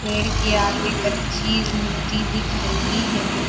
पेड़ के आगे कच्ची मिट्टी दिख रही है।